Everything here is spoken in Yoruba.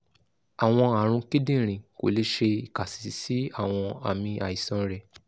awọn arun kidinrin ko le ṣe ikasi si awọn aami aisan rẹ